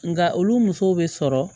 Nka olu musow bɛ sɔrɔ